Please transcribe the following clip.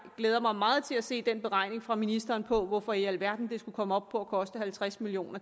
glæder mig meget til at se den beregning fra ministeren på hvorfor i alverden det skulle komme op på at koste halvtreds million